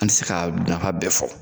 An te se k'a nafa bɛɛ fɔ